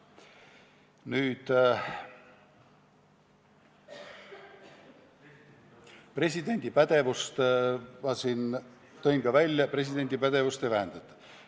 Nüüd presidendi pädevusest: ma tõin siin välja, et presidendi pädevust ei vähendata.